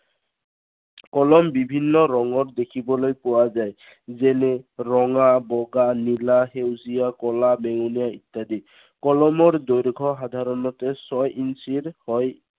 কলম বিভিন্ন ৰঙৰ দেখিবলৈ পোৱা যায়। যেনে ৰঙা, বগা, নীলা, সেউজীয়া, ক'লা বেঙুনীয়া ইত্য়াদি। কলমৰ দৈৰ্ঘ সাধাৰণতে ছয় ইঞ্চিৰ হয়।